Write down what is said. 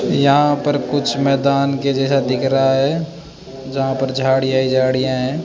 यहां पर कुछ मैदान के जैसा दिख रहा है जहां पर झाड़ियां ही झाड़ियां हैं।